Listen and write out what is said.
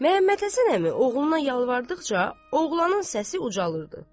Məmmədhəsən əmi oğluna yalvardıqca, oğlanın səsi ucalırdı.